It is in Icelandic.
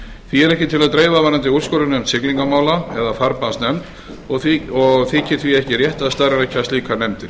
því er ekki til að dreifa varðandi úrskurðarnefnd siglingamála eða farbannsnefnd og þykir því ekki rétt að starfrækja slíkar nefndir